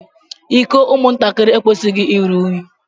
Iko ụmụ ntakịrị ekwesighi ịrụ ụnyi.